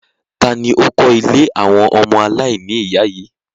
Tani ó kọ ìlé awọn ọmọ alaini iya yii?